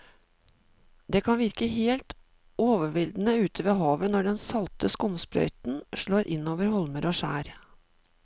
Det kan virke helt overveldende ute ved havet når den salte skumsprøyten slår innover holmer og skjær.